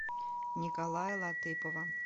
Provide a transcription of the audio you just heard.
николая латыпова